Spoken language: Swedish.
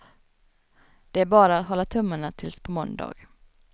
Det är bara att hålla tummarna tills på måndag.